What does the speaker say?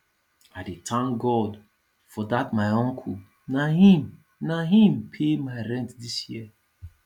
i dey thank god for dat my uncle na im na im pay my rent dis year